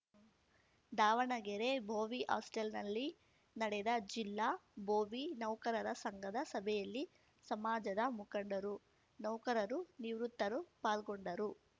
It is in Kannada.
ದಾವಣಗೆರೆ ಭೋವಿ ಹಾಸ್ಟೆಲ್‌ನಲ್ಲಿ ನಡೆದ ಜಿಲ್ಲಾ ಭೋವಿ ನೌಕರರ ಸಂಘದ ಸಭೆಯಲ್ಲಿ ಸಮಾಜದ ಮುಖಂಡರು ನೌಕರರು ನಿವೃತ್ತರು ಪಾಲ್ಗೊಂಡರು